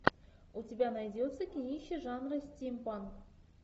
у тебя найдется кинище жанра стимпанк